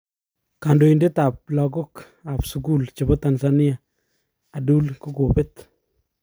Kandoitet ap lagok ap sukul chepo Tanzania adul kokopet.